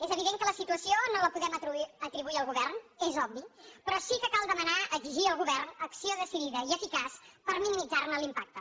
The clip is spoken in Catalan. és evident que la situació no la podem atribuir al govern és obvi però sí que cal demanar exigir al govern acció decidida i eficaç per minimitzar ne l’impacte